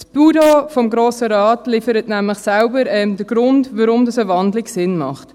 Das Büro des Grossen Rates liefert nämlich selbst den Grund, weshalb eine Wandlung Sinn macht.